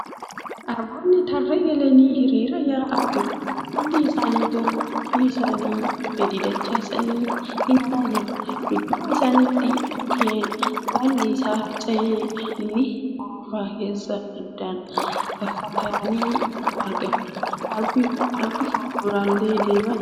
Arboonni tarree galanii hiriiraan yaa'aa jiru. Hundi isaanituu qumbii isaanii gadi dachaasanii imalaa jiru. Dudduuba isaanitti mukkeen baalli irraa harca'e ni hurufa keessa addaan faffagaatanii argamu. Arbi fuulduraan deemaa jiru ilkaan isaa lamaanuu gadi yaasee jira.